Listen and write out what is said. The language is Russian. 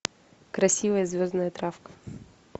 красивая звездная травка